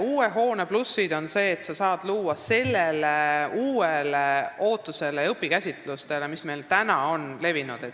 Uue hoone pluss on see, et seal saab luua keskkonna, mis vastab ootustele ja uutele õpikäsitlustele, mis meil on levinud.